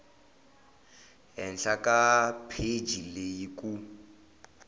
henhla ka pheji leyi ku